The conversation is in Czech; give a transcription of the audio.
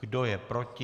Kdo je proti?